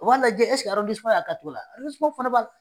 U'a lajɛ y'a ka cogo la ? fana